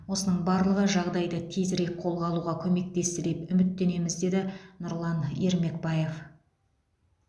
осының барлығы жағдайды тезірек қолға алуға көмектесті деп үміттенеміз деді нұрлан ермекбаев